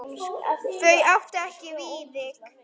Þau áttu ekki Viðvík.